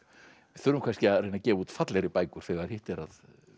þurfum kannski að reyna að gefa út fallegri bækur þegar hitt er að